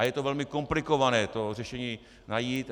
A je to velmi komplikované to řešení najít.